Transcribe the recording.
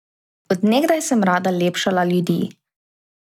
Od nekdaj sem rada lepšala ljudi.